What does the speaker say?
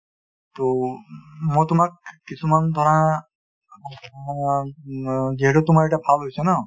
টো , মই তোমাক কিছুমান ধৰা অ ন যিহেতু তোমাৰ এতিয়া ভাল হৈছে ন ?